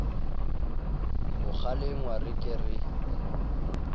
ho kgalengwa re ke ke